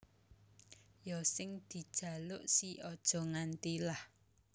Ya sing dejaluk si Aja Nganti lah